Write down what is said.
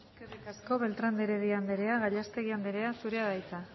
eskerrik asko beltrán de heredia anderea gallastegui anderea zurea da hitza